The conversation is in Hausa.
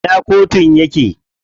A ina kotun yake?